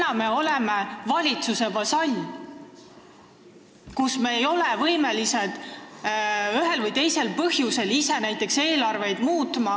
Praegu me oleme valitsuse vasall, me ei ole ühel või teisel põhjusel võimelised ise näiteks eelarveid muutma.